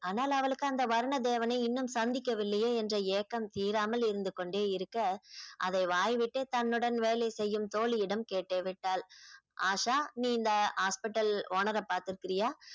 ஆனால் அவளுக்கு அந்த வரண தேவனை இன்னும் சந்திக்கவில்லையே என்ற ஏக்கம் தீராமல் இருந்து கொண்டே இருக்க அதை வாய்விட்டே தன்னுடன் வேலை செய்யும் தோழியிடம் கேட்டே விட்டாள் ஆஷா நீ இந்த hospital owner அ பாத்திருக்கியா?